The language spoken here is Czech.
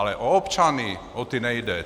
Ale o občany, o ty nejde.